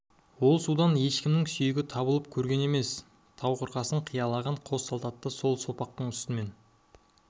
ол судан ешкімнің сүйегі табылып көрген емес тау қырқасын қиялаған қос салт атты сол соқпақтың үстінен